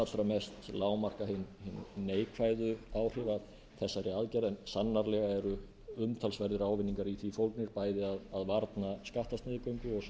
lágmarka hin neikvæðu áhrif af þessari aðgerð en sannarlega umtalsverðir ávinningar í því fólgnir bæði að varna skattasniðgöngu